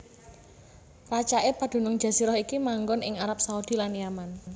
Racaké padunung jazirah iki manggon ing Arab Saudi lan Yaman